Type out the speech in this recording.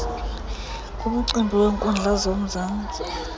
ngumcimbi weenkundla zomzantsi